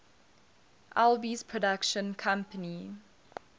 alby's production company